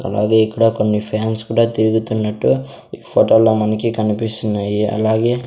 అలాగే ఇక్కడ కొన్ని ఫ్యాన్స్ కూడా తిరుగుతున్నట్టుగా ఈ ఫోటోలో మనకి కనిపిస్తున్నాయి అలాగే.